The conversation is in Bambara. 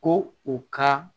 Ko u ka